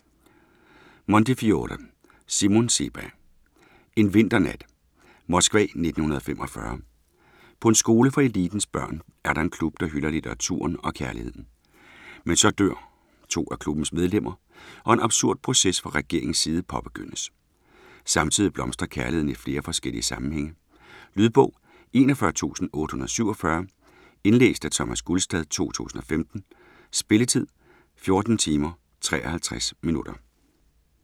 Montefiore, Simon Sebag: En vinternat Moskva 1945. På en skole for elitens børn, er der en klub der hylder litteraturen og kærligheden. Men så dør to af klubbens medlemmer og en absurd proces fra regeringens side påbegyndes. Samtidig blomstrer kærligheden i flere forskellige sammenhænge. Lydbog 41847 Indlæst af Thomas Gulstad, 2015. Spilletid: 14 timer, 53 minutter.